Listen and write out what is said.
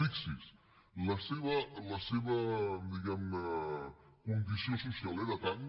fixi’s la seva diguemne condició social era tant